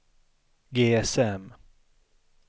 GSM